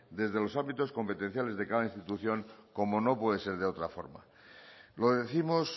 desde los ámbitos competenciales de cada institución como no puede ser de otra forma lo décimos